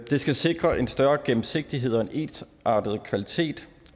det skal sikre en større gennemsigtighed og en ensartet kvalitet